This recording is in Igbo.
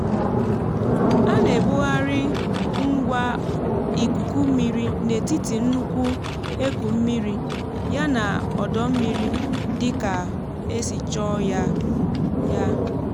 á nà ebugharị ngwa ikuku mmiri n'ètiti nnukwu eku mmiri yana ódómmiri dịkà ēsì chọọ yā yā